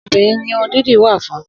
Obìnrin ni Irun dídì wa fún.